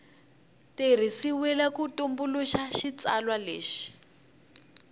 tirhisiwile ku tumbuluxa xitsalwana lexi